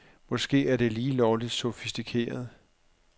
Måske er det lige lovligt sofistikeret.